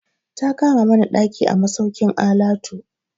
Ta kama mana ɗaki a masaukin alatu.